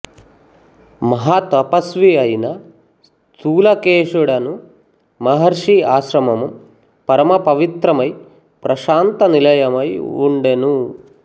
మహాతపస్వి అయిన స్థూలకేశుడను మహర్షి ఆశ్రమము పరమ పవిత్రమై ప్రశాంత నిలయమై వుండెను